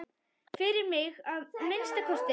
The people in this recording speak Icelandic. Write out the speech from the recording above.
Fyrir mig, að minnsta kosti.